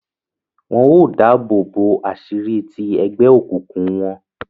Wọn o dáàbòbo aṣiri ti egbeokunkun wọn